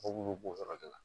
Mobili b'o yɔrɔ de la